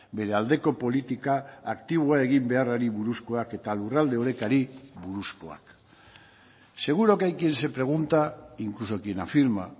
bere aldeko politika aktiboa egin beharrari buruzkoak eta lurralde orekari buruzkoak seguro que hay quien se pregunta incluso quien afirma